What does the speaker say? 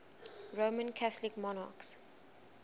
roman catholic monarchs